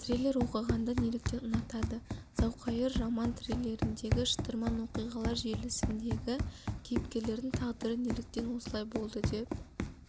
триллер оқығанды неліктен ұнатады зауқайыр роман-триллеріндегі шытырман оқиғалар желісіндегі кейіпкерлердің тағдыры неліктен осылай болды деп